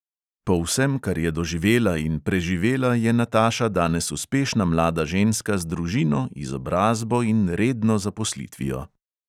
Po vsem, kar je doživela in preživela, je nataša danes uspešna mlada ženska z družino, izobrazbo in redno zaposlitvijo.